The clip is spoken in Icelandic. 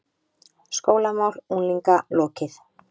SKÓLAMÁL UNGLINGA LOKIÐ